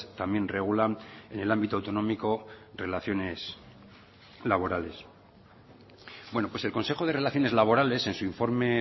también regulan en el ámbito autonómico relaciones laborales bueno pues el consejo de relaciones laborales en su informe